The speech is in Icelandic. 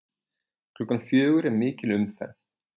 Klukkan fjögur er mikil umferð.